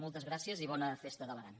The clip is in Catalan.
moltes gràcies i bona festa de l’aran